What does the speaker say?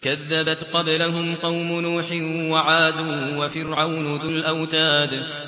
كَذَّبَتْ قَبْلَهُمْ قَوْمُ نُوحٍ وَعَادٌ وَفِرْعَوْنُ ذُو الْأَوْتَادِ